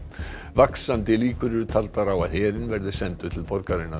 vaxandi líkur eru taldar á að herinn verði sendur til borgarinnar